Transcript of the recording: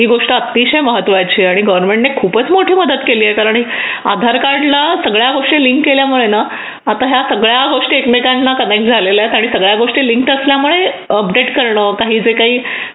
ही गोष्ट अतिशय महत्त्वाची आणि गव्हर्मेंट ने खूपच मोठे मदत केली आहे आणि आधार कार्ड ला सगळ्या गोष्टी लिंक केल्यामुळे आता या सगळ्या गोष्टी एकमेकांना त्यांनी झालेल्या आहेत आणि सगळ्या गोष्टी लिंक असल्यामुळे अपडेट करणार जे काही